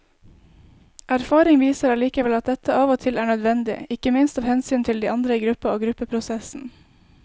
Erfaring viser allikevel at dette av og til er nødvendig, ikke minst av hensyn til de andre i gruppa og gruppeprosessen.